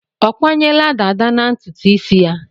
Ọ kwanyela dàdá na ntutu isi ya?